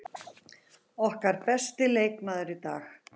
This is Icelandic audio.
Okkar besti leikmaður í dag.